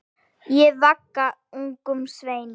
Ég vagga ungum sveini.